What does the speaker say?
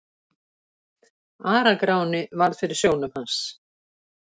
Ara-Gráni varð fyrir sjónum hans.